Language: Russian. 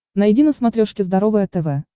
найди на смотрешке здоровое тв